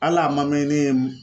Hal'a ma mɛn ne ye mun